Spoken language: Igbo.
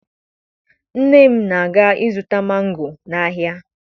Nne m na-aga ịzụta mango n'ahịa